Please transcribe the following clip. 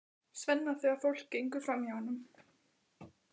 Svenna þegar fólk gengur framhjá honum.